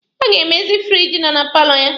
Ọ ga-emezi firiji nọ na paalọ ya.